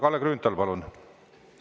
Kalle Grünthal, palun!